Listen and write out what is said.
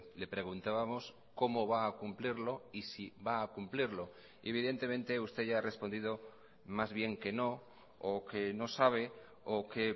le preguntábamos cómo va a cumplirlo y si va a cumplirlo y evidentemente usted ya ha respondido más bien que no o que no sabe o que